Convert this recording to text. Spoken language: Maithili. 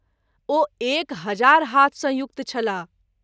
ओ एक हजार हाथ सँ युक्त छलाह।